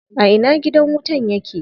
A ina gidan wutan yake?